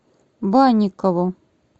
банникову